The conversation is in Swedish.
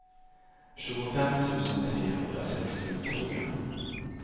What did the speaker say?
tjugofem tusen trehundrasextiotre